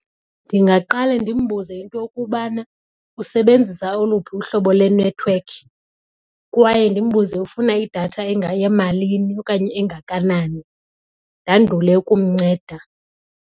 Ndingaqale ndimbuze into yokubana usebenzisa oluphi uhlobo lwenethiwekhi kwaye ndimbuze ufuna idatha engayemalini okanye engakanani ndandule ukumnceda.